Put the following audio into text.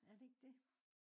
Er det ikke det?